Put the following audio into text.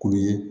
Kulu ye